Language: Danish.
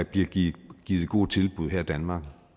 bliver givet givet gode tilbud her i danmark